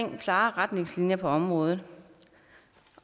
om klare retningslinjer på området